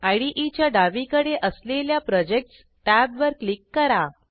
IDEच्या डावीकडे असलेल्या प्रोजेक्टस टॅबवर क्लिक करा